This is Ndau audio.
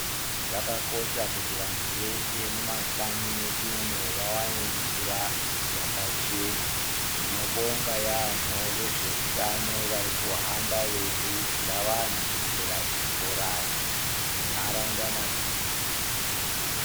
Zvakakosha kuti wandu weshe mumakanyi medu umo, wawane mvura yakachena, tinobonga yamho wezveutano warikuhamba wei kurudzira wanhu kuchera zvibhorani munharaunda.